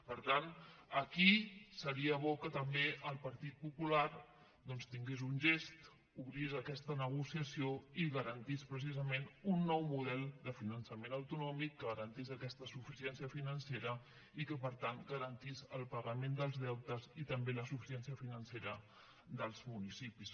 per tant aquí seria bo que també el partit popular doncs tingués un gest obrís aquesta negociació i garantís precisament un nou model de finançament autonòmic que garantís aquesta suficiència financera i que per tant garantís el pagament dels deutes i també la suficiència financera dels municipis